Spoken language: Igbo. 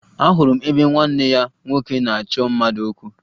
Ahụrụ m ebe nwanne ya nwoke na-achọ mmadụ okwu